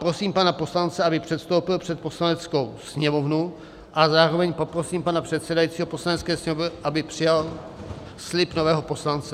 Prosím pana poslance, aby předstoupil před Poslaneckou sněmovnu, a zároveň poprosím pana předsedajícího Poslanecké sněmovny , aby přijal slib nového poslance.